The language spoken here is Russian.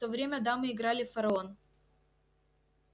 в то время дамы играли в фараон